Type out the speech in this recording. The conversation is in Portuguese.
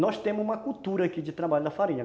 Nós temos uma cultura aqui de trabalho da farinha.